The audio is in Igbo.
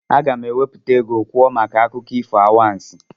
Aga m ewepụta oge kwuo maka akụkọ ifo anwansị